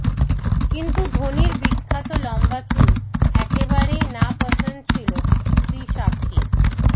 কিন্তু ধোনির বিখ্যাত লম্বা চুল একেবারেই নাপসন্দ ছিল স্ত্রী সাক্ষীর